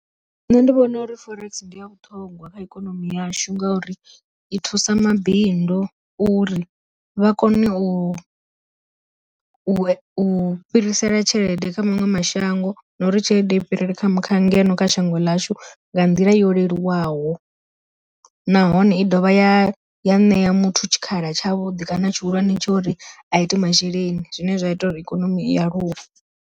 Nṋe ndi vhona uri forex ndi ya vhuṱhongwa kha ikonomi yashu ngauri i thusa mabindu uri vha kone u, u fhirisela tshelede kha maṅwe mashango, na uri tshelede i fhirele kha kha ngeno kha shango ḽashu nga nḓila yo leluwaho. Nahone i dovha ya ya ṋea muthu tshikhala tshavhuḓi kana tshihulwane tsho uri a ite masheleni zwine zwa ita uri ikonomi i aluwe.